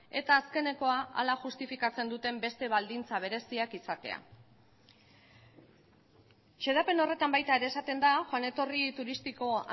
eta azkenekoa hala justifikatzen duten beste baldintza bereziak izatea xedapen horretan baita ere esaten da joan etorri turistiko